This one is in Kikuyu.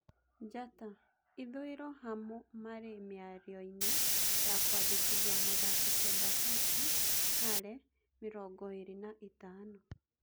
(Njata) Ithũĩro Hamu mari miarioinĩ ya kũandĩkithia mũthaki Sebaseti Hale , mĩrongoĩrĩ na ĩtano.